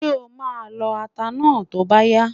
Ṣé o máa lọ ata náà tó bá yá?